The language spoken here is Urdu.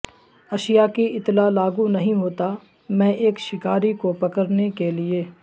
اشیا کی اتلا لاگو نہیں ہوتا میں ایک شکاری کو پکڑنے کے لئے